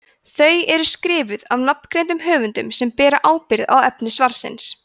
þau eru skrifuð af nafngreindum höfundum sem bera ábyrgð á efni svarsins